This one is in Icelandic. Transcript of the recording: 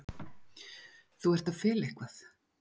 Þú ert að fela eitthvað.